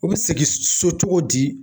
U bɛ segin so cogo di.